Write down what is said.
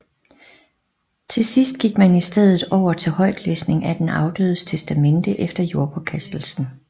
Til sidst gik man i stedet over til højtlæsning af den afdødes testamente efter jordpåkastelsen